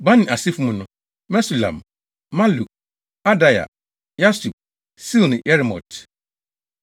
Bani asefo mu no: Mesulam, Maluk, Adaia, Yasub, Seal ne Yeremot.